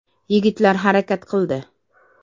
Yigitlar harakat qildi.